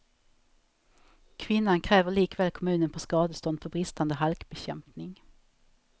Kvinnan kräver likväl kommunen på skadestånd för bristande halkbekämpning.